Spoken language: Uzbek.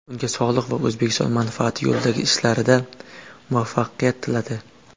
Unga sog‘liq va O‘zbekiston manfaati yo‘lidagi ishlarida muvaffaqiyat tiladi.